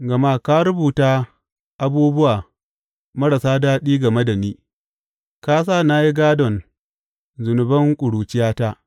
Gama ka rubuta abubuwa marasa daɗi game da ni; ka sa na yi gādon zunuban ƙuruciyata.